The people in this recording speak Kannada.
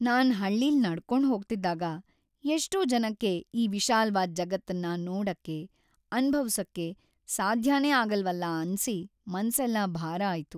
ನಾನ್ ಹಳ್ಳಿಲ್ ನಡ್ಕೊಂಡ್ ಹೋಗ್ತಿದ್ದಾಗ, ಎಷ್ಟೋ ಜನಕ್ಕೆ ಈ ವಿಶಾಲ್ವಾದ್‌ ಜಗತ್ತನ್ನ ನೋಡಕ್ಕೆ, ಅನ್ಭವ್ಸೋಕೆ ಸಾಧ್ಯನೇ ಆಗಲ್ವಲ್ಲ ಅನ್ಸಿ ಮನ್ಸೆಲ್ಲ ಭಾರ ಆಯ್ತು.